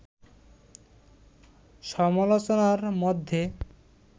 সমালোচনার মধ্যে